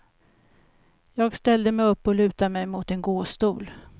Jag ställde mig upp och lutade mig mot en gåstol.